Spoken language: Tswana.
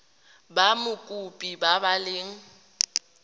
ba mokopi ba ba leng